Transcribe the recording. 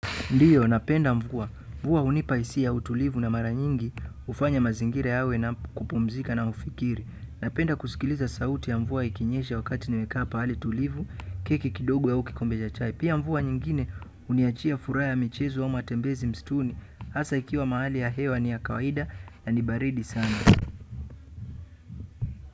Ndiyo, napenda mvua. Mvua hunipa hisia ya utulivu na mara nyingi hufanya mazingira yawe na kupumzika na ufikiri. Napenda kusikiliza sauti ya mvua ikinyesha wakati nimekaa pahali tulivu, keki kidogo au kikombe ja chai. Pia mvua nyingine huniachia furaha ya michezo ama matembezi msituni hasaa ikiwa mahali ya hewa ni ya kawaida na ni baridi sana.